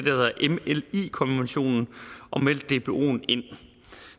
konventionen og meldt dboen ind